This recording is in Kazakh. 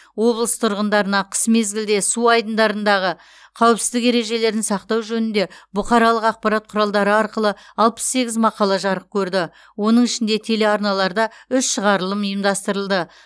облыс тұрғындарына қыс мезгілде су айдындардағы қауіпсіздік ережелерін сақтау жөнінде бұқаралық ақпарат құралдары арқылы алпыс сегіз мақала жарық көрді оның ішінде телеарналарда үш шығарылым ұйымдастырылды